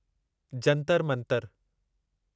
Jantar Mantar